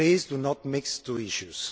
Please do not mix the two issues.